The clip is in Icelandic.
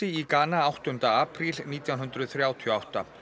í Gana áttunda apríl nítján hundruð þrjátíu og átta